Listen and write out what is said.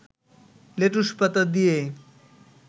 লেটুসপাতা দিয়ে